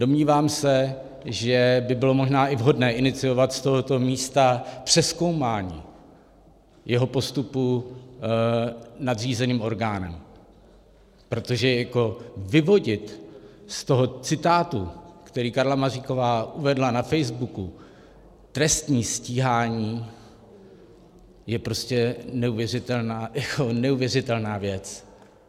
Domnívám se, že by bylo možná i vhodné iniciovat z tohoto místa přezkoumání jeho postupu nadřízeným orgánem, protože vyvodit z toho citátu, který Karla Maříková uvedla na Facebooku, trestní stíhání, je prostě neuvěřitelná věc.